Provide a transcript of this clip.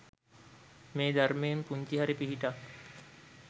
මේ ධර්මයෙන් පුංචි හරි පිහිටක්